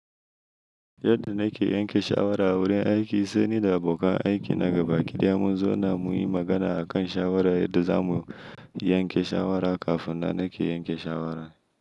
Yadda na ke yanke shawara a wurin aiki, sai ni da abokan aiki na gaba ki daya mun zauna mu yi magana a kan shawarar da za mu yanke shawara kafin na ke yanke shawara.